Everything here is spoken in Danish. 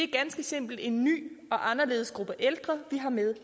ganske simpelt en ny og anderledes gruppe ældre vi har med